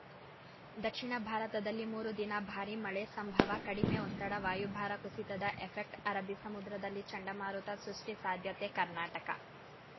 ದಕ್ಷಿಣ ಭಾರತದಲ್ಲಿ ಮೂರು ದಿನ ಭಾರಿ ಮಳೆ ಸಂಭವ ಕಡಿಮೆ ಒತ್ತಡ ವಾಯುಭಾರ ಕುಸಿತದ ಎಫೆಕ್ಟ್ ಅರಬ್ಬಿ ಸಮುದ್ರದಲ್ಲಿ ಚಂಡಮಾರುತ ಸೃಷ್ಟಿಸಾಧ್ಯತೆ ಕರ್ನಾಟಕ